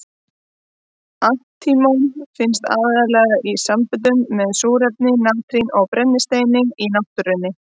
Antímon finnst aðallega í samböndum með súrefni, natríni og brennisteini í náttúrunni.